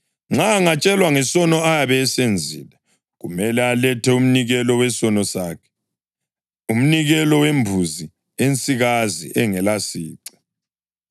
Nxa angatshelwa ngesono ayabe esenzile, kumele alethe umnikelo wesono sakhe, umnikelo wembuzi ensikazi engelasici.